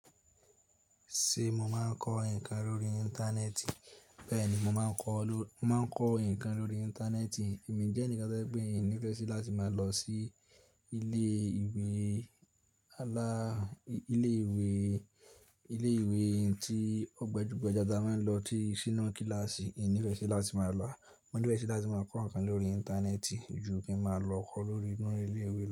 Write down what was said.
Tí mo máa ń kọ ǹkan lórí íńtánẹ́ẹ̀tì. Bẹ́ẹ̀ni, mo máa kọ, mo má kọ nǹkan lórí íńtánẹ́ẹ̀tì. Èmi jẹ́ ẹnìkan tó jẹ́ pé ìnífẹ̀ẹ́ sí láti máa lọ sí ilé ìwé alaa, ilé ìwé, ilé ìwé tí ọgbajugbaja tí a máa ń lọ tí sínú kíláàsì. Ìnífẹ̀ẹ́ sí láti máa lọ mo nífẹ̀ sí láti máa kọ ǹkan lórí íńtánẹ́ẹ̀tì.